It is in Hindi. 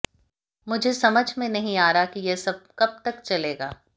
मुझे समझ में नहीं आ रहा है कि यह सब कब तक चलेगा